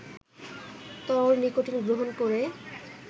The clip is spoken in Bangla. তরল নিকোটিন গ্রহণ করে